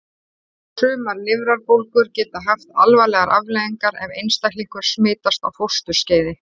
Sumar lifrarbólgur geta haft alvarlegar afleiðingar ef einstaklingur smitast á fósturskeiði.